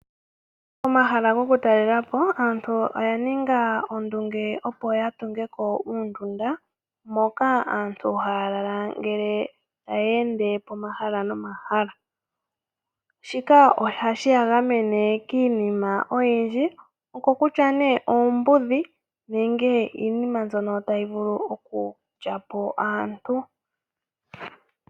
Pomahala goku talelapo antu oya ninga ondunge opo ya tunge ko uundunda, moka aantu haya lala ngele taya ende po mahala no mahala. Shika ohashi ya gamene kiinima oyindji, oko kutya nee oombudhi, nenge iinima mbyono tayi vulu oku lyapo aantu.